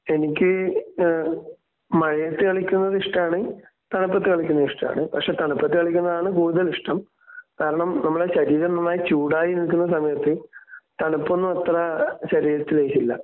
എനിക്ക് ഏഹ് മഴയത്ത് കളിക്കുന്നത് ഇഷ്ടമാണ്. തണുപ്പത്ത് കളിക്കുന്നത് ഇഷ്ടമാണ്. പക്ഷേ തണുപ്പത്ത് കളിക്കുന്നതാണ് കൂടുതൽ ഇഷ്ടം. കാരണം നമ്മളെ ശരീരവുമായി ചൂടായി നിൽക്കുന്ന സമയത്ത് തണുപ്പൊന്നും അത്ര ശരീരത്തില് ലയിക്കില്ല.